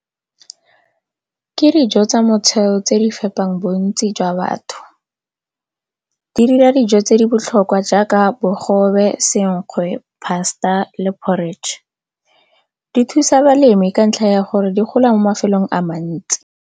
Ke dijo tsa tse di fepang bontsi jwa batho. Di dira dijo tse di botlhokwa jaaka bogobe, senkgwe, pasta le porridge, di thusa balemi ka ntlha ya gore di gola mo mafelong a mantsi.